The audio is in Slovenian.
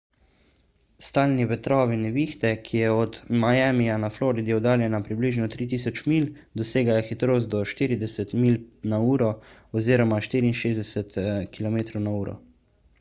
stalni vetrovi nevihte ki je od miamija na floridi oddaljena približno 3000 milj dosegajo hitrost do 40 mph 64 km/h